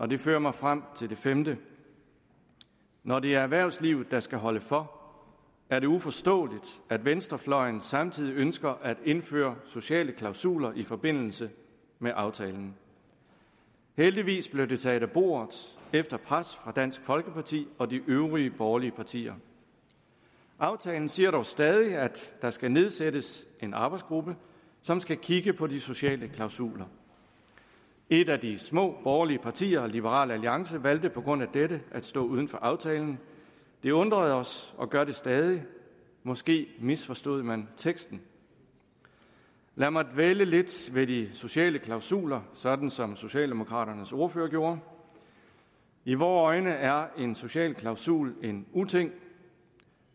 det fører mig frem til det femte når det er erhvervslivet der skal holde for er det uforståeligt at venstrefløjen samtidig ønsker at indføre sociale klausuler i forbindelse med aftalen heldigvis blev det taget af bordet efter pres fra dansk folkeparti og de øvrige borgerlige partier aftalen siger dog stadig at der skal nedsættes en arbejdsgruppe som skal kigge på de sociale klausuler et af de små borgerlige partier liberal alliance valgte på grund af dette at stå uden for aftalen det undrede os og gør det stadig måske misforstod man teksten lad mig dvæle lidt ved de sociale klausuler sådan som socialdemokraternes ordfører gjorde i vore øjne er en social klausul en uting